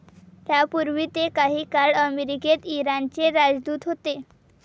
त्यापूर्वी ते काही काळ अमेरिकेत इराणचे राजदूत होते.